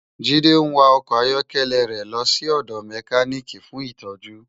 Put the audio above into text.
Jide n wá òkò áyòkèlè rè lò si òdò mèkánikí fún itòjú